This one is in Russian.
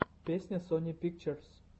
песня сони пикчерз